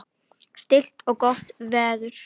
Stillt og gott veður.